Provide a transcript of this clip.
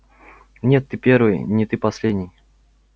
нет ты первый не ты последний